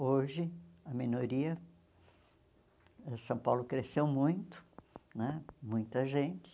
Hoje, a minoria... São Paulo cresceu muito né, muita gente.